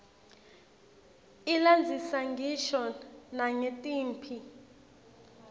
ilandzisa ngisho nangetimphi